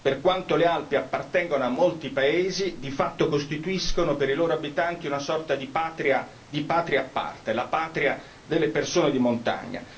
Per quanto le Alpi appartengano a molti paesi, di fatto costituiscono per i loro abitanti una sorta di patria a parte, la patria delle persone di montagna.